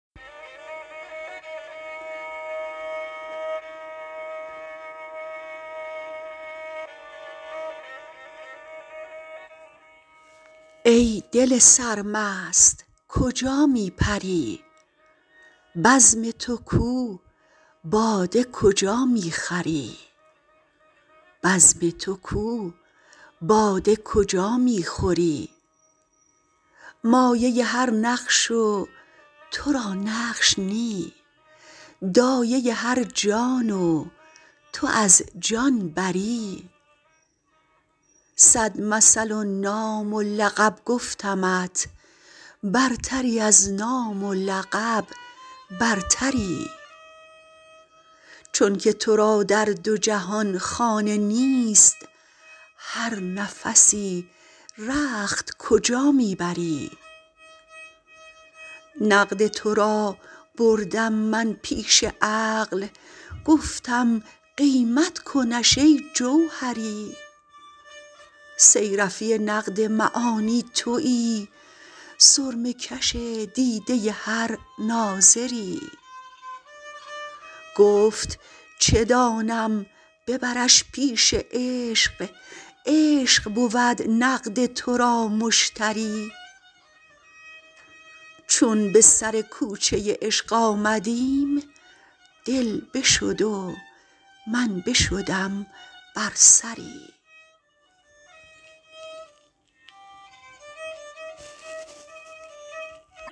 ای دل سرمست کجا می پری بزم تو کو باده کجا می خوری مایه هر نقش و ترا نقش نی دایه هر جان و تو از جان بری صد مثل و نام و لقب گفتمت برتری از نام ولقب برتری چونک ترا در دو جهان خانه نیست هر نفسی رخت کجا می بری نقد ترا بردم من پیش عقل گفتم قیمت کنش ای جوهری صیر فی نقد معانی توی سرمه کش دیده هر ناظری گفت چه دانم ببرش پیش عشق عشق بود نقد ترا مشتری چون به سر کوچه عشق آمدیم دل بشد و من بشدم بر سری